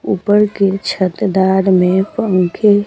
ऊपर के छतदार में पंखे--